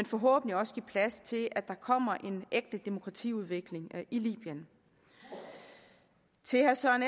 forhåbentlig give plads til at der kommer en ægte demokratiudvikling i libyen til herre søren